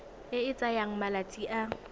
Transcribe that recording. e e tsayang malatsi a